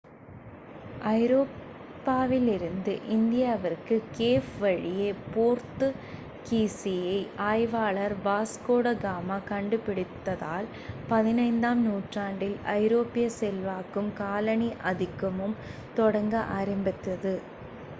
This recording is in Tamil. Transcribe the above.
ஐரோப்பாவிலிருந்து இந்தியாவிற்கு கேப் வழியை போர்த்துக்கீசிய ஆய்வாளர் வாஸ்கோட காமா கண்டுபிடித்ததால் 15 ஆம் நூற்றாண்டில் ஐரோப்பிய செல்வாக்கும் காலனி ஆதிக்கமும் தொடங்க ஆரம்பித்தது